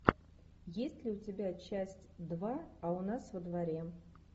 есть ли у тебя часть два а у нас во дворе